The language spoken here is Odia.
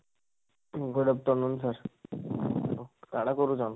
good afternoon sir, କାଣା କରୁଛନ?